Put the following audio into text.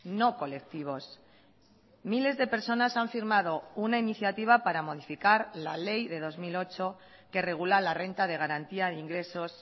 no colectivos miles de personas han firmado una iniciativa para modificar la ley de dos mil ocho que regula la renta de garantía de ingresos